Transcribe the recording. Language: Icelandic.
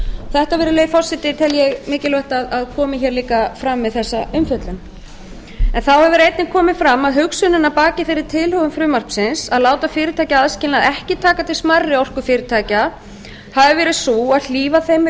þetta virðulegi forseti tel ég mikilvægt að komi hér líka fram við þessa umfjöllun þá hefur einnig komið fram að hugsunin að baki þeirri tilhögun frumvarpsins að láta fyrirtækjaaðskilnað ekki taka til smærri orkufyrirtækja hafi verið sú að hlífa þeim við